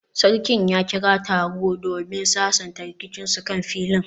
Sarkin ya kira taro domin sasanta rikicinsu kan filin